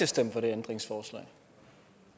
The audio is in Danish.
stemmer for det ændringsforslag